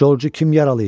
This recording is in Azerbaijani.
Corcu kim yaralayıb?